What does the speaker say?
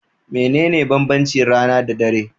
Mene ne banbanci rana da dare?